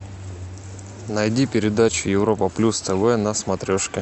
найди передачу европа плюс тв на смотрешке